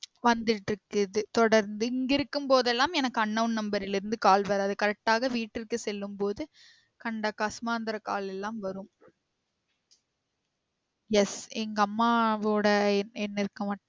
வந்திட்டு இருக்குது தொடர்ந்து இங்கு இருக்கும் போதெல்லாம் எனக்கு unknown number இல் இருந்து call வராது correct ஆக வீட்டிற்கு செல்லும் போது கண்ட கசுமாத்ராcall எல்லாம் வரும் yes எங்க அம்மாவோட எண் எண்ணிற்கு